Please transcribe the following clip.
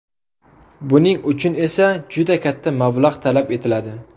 Buning uchun esa juda katta mablag‘ talab etiladi.